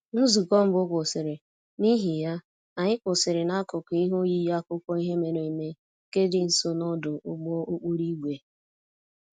Nzukọ mbụ kwụsịrị, n'ihi ya, anyị kwụsịrị n'akụkụ ihe oyiyi akụkọ ihe mere eme nke dị nso n'ọdụ ụgbọ okporo ígwè